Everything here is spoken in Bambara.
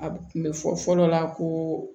A kun bɛ fɔ fɔlɔ la ko